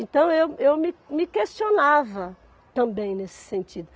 Então, eu eu me me questionava também nesse sentido.